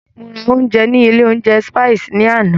Mo ra ounjẹ ní ilé oúnjẹ Spices ní àná.